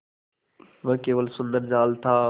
वह केवल सुंदर जाल था